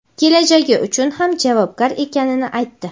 kelajagi uchun ham javobgar ekanini aytdi.